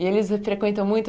E eles frequentam muito?